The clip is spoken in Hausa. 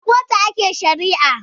A kotu ake shari'a